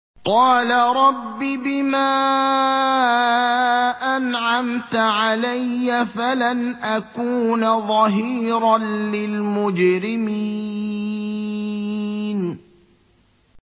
قَالَ رَبِّ بِمَا أَنْعَمْتَ عَلَيَّ فَلَنْ أَكُونَ ظَهِيرًا لِّلْمُجْرِمِينَ